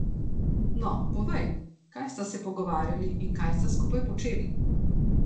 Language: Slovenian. No, povej, kaj sta se pogovarjali in kaj sta skupaj počeli.